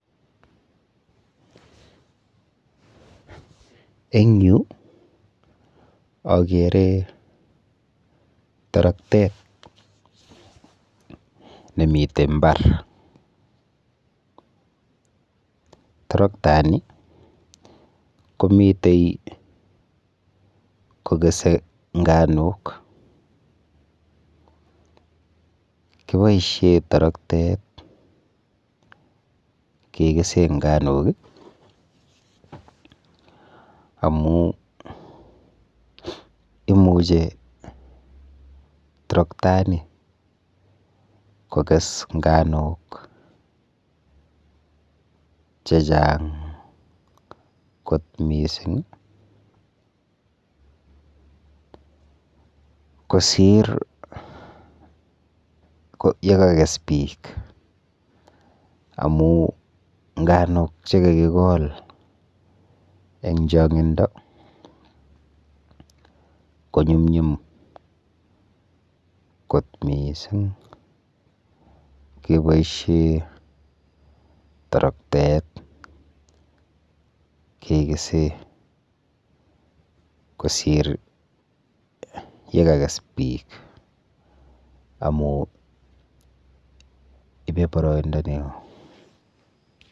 Eng yu akere toroktet nemite mbar. Toroktani komite kokese nganuk. Kiboishe toroktet kekese nganuk amu imuche toroktani kokes nganuk chechang kot mising kosir yekakes biik amu nganuk chekakikol eng chong'indo konyumnyum kot miising keboishe toroktet kekese kosir yekakes biik amu ibe boroindo neo.